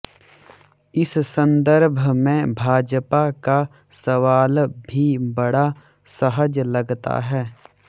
इस संदर्भ में भाजपा का सवाल भी बड़ा सहज लगता है